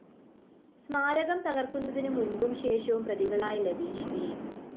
സ്മാരകം തകര്‍ക്കുന്നതിന് മുമ്പും ശേഷവും പ്രതികളായ ലതീഷ് ബി